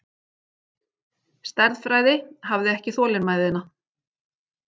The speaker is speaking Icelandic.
Stærðfræði, hafði ekki þolinmæðina.